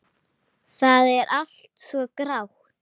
Það er allt svo grátt.